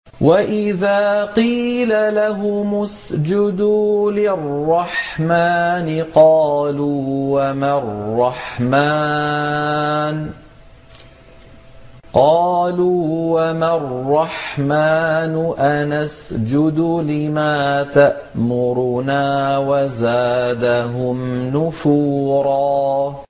وَإِذَا قِيلَ لَهُمُ اسْجُدُوا لِلرَّحْمَٰنِ قَالُوا وَمَا الرَّحْمَٰنُ أَنَسْجُدُ لِمَا تَأْمُرُنَا وَزَادَهُمْ نُفُورًا ۩